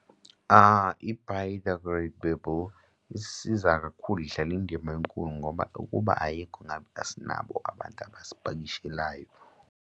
I-biodegradable isiza kakhulu idlala indima enkulu ngoba ukuba ayikho ngabe asinabo abantu abasipakushelayo.